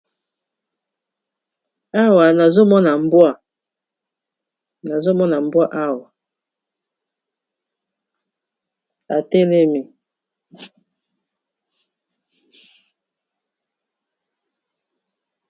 awa nazomona mbwa awa atelemi